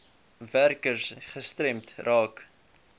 werkers gestremd raak